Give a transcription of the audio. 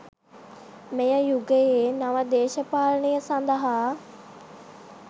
මෙම යුගයේ නව දේශපාලනය සඳහා